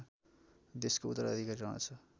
देशको उत्तराधिकारी रहेछ